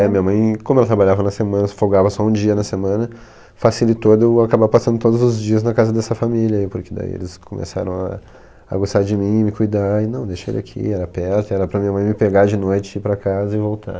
É, minha mãe, como ela trabalhava na semana, folgava só um dia na semana, facilitou eu acabar passando todos os dias na casa dessa família, porque daí eles começaram a a gostar de mim, me cuidar, e não, deixa ele aqui, era perto, era para minha mãe me pegar de noite, ir para casa e voltar.